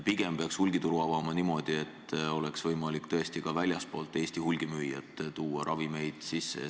Pigem peaks hulgituru avama niimoodi, et oleks võimalik tõesti ka väljastpoolt Eesti hulgimüüja reguleerimisala ravimeid sisse tuua.